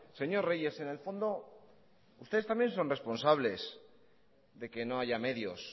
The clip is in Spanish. señor reyes en el fondo ustedes también son responsables de que no haya medios